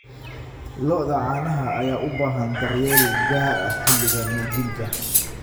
Lo'da caanaha ayaa u baahan daryeel gaar ah xilliga nuujinta.